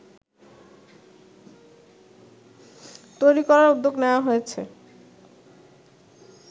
তৈরি করার উদ্যোগ নেয়া হয়েছে